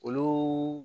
Olu